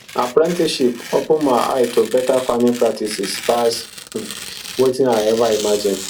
apprenticeship open my eye to better farming practices pass um wetin i ever imagine